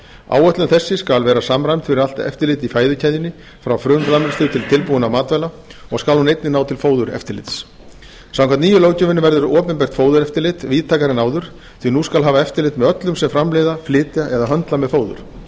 áætlun þessi skal vera samræmd fyrir allt eftirlit í fæðukeðjunni frá frumframleiðslu til tilbúinna matvæla og skal hún einnig ná til fóðureftirlits samkvæmt nýju löggjöfinni verður opinbert fóðureftirlit víðtækara en áður því nú skal hafa eftirlit með öllum sem framleiða flytja eða höndla með fóður þetta